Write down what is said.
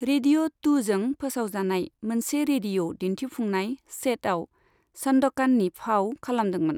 Radio टु जों फोसावजानाय मोनसे रेडिअ' दिन्थिफुंनाय 'चेट'आव सान्दकाननि फाव खालामदोंमोन।